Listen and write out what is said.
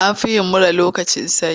An fi yin mura lokacin sanyi.